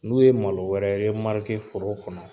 N'u ye malo wɛrɛ foro kɔnɔ